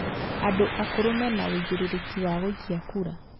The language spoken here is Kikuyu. Andũ akũrũ mena ũigĩrĩrĩki wa gũikia kura